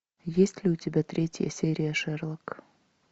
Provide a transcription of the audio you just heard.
есть ли у тебя третья серия шерлок